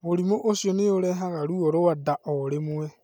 Mũrimũ ũcio nĩ ũrehaga ruo rwa nda o rĩmwe.